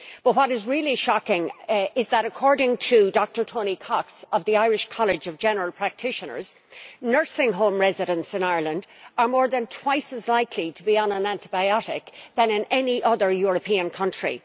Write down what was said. But what is really shocking is that, according to Dr Tony Cox of the Irish College of General Practitioners, nursing home residents in Ireland are more than twice as likely to be on an antibiotic than in any other European country.